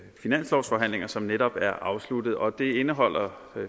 de finanslovsforhandlinger som netop er afsluttet og det indeholder